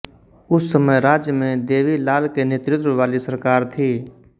उस समय राज्य में देवीलाल के नेतृत्व वाली सरकार थी